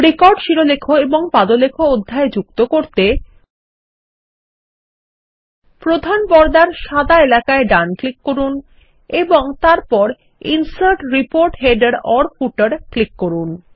record শিরোলেখ এবং পাদলেখ অধ্যায় যুক্ত করতে প্রধান পর্দার সাদা এলাকায়ডান ক্লিক করুনএবং তারপর ইনসার্ট রিপোর্ট headerফুটের ক্লিক করুন